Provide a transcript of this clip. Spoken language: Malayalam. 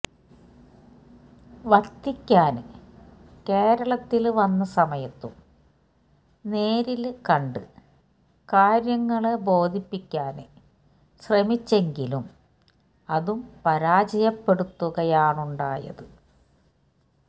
വത്തിക്കാന് കേരളത്തില് വന്ന സമയത്തും നേരില് കണ്ട് കാര്യങ്ങള് ബോധിപ്പിക്കാന് ശ്രമിച്ചെങ്കിലും അതും പരാജയപ്പെടുത്തുകയാണുണ്ടായത്